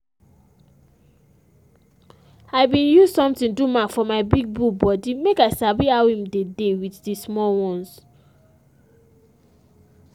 i bin use something do mark for my big bull body make i sabi how him dey dey with the small ones